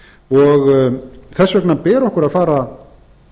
og þess vegna ber okkur að fara